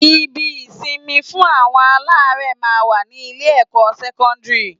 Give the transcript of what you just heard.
Ibi-ìsinmi fún àwọn aláárẹ̀ máa ń wà ní Ilé-ẹ̀kọ́ sẹ́kọ́ńdìrì